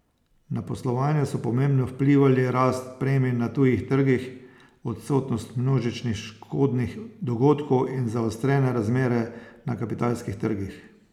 Na poslovanje so pomembno vplivali rast premij na tujih trgih, odsotnost množičnih škodnih dogodkov in zaostrene razmere na kapitalskih trgih.